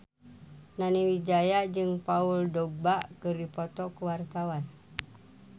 Nani Wijaya jeung Paul Dogba keur dipoto ku wartawan